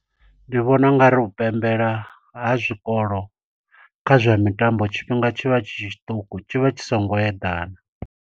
Ndi vhona ungari u pembela ha zwikolo kha zwa mitambo, tshifhinga tshivha tshi tshiṱuku tshivha tshi songo eḓana.